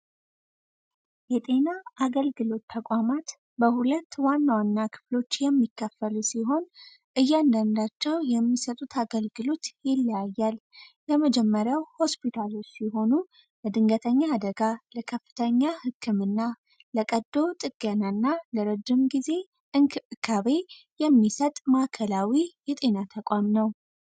የጤና አገልግሎት ተቋማት በሁለት ዋና ዋና ክፍሎች የሚከፈሉ ሲሆን እያንዳንዳቸው የሚሰጡት አገልግሎት ለመጀመሪያው ሆስፒታሎች የሆኑ አደጋ ለከፍተኛ ህክምና ለቀዶ ጥገናና ለረጅም ጊዜ የሚሰጥ ማዕከላዊ የጤና ተቋም ነው።